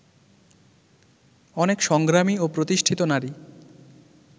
অনেক সংগ্রামী ও প্রতিষ্ঠিত নারী